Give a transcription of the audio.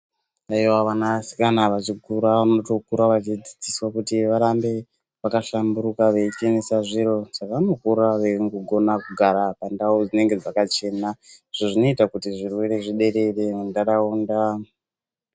Vanasikana vachikura vanotokura vachidzidziswa kuti varambe vakahlamburika veichenesa zviro. Vanokura veigona kugara pandau dzinenge dzakachena izvo zvinoita kuti zvirwere zviderere mundaraunda.